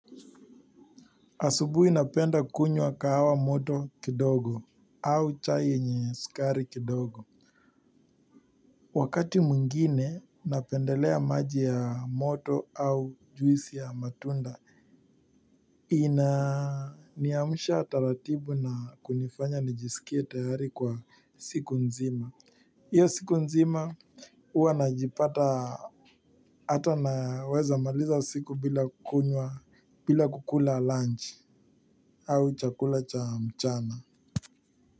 Asubuhi napenda kunywa kahawa moto kidogo au chai yenye sukari kidogo. Wakati mwingine napendelea maji ya moto au juisi ya matunda inaniamsha taratibu na kunifanya nijisikie tayari kwa siku nzima. Iyo siku nzima huanajipata ata naweza maliza siku bila kunywa bila kukula lunch au chakula cha mchana.